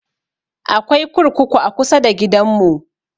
Akwai kurkuku a kusa da gidan mu